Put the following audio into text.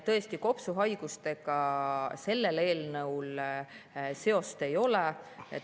Tõesti, kopsuhaigustega sellel eelnõul seost ei ole.